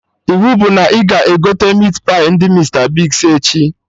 Iwu bụ na ị ga-egote Meatpai ndị Mista Bigz echi!